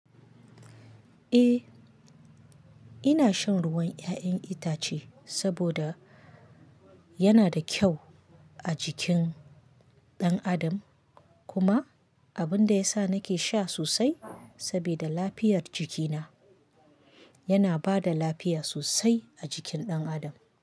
Eh, ina shan ruwan 'ya'yan itace saboda yana da kyau a jikin ɗan adam kuma abin da ya sa nake sha sosai sabida lafiyar jikina. Yana ba da lafiya sosai a jikin ɗan adam.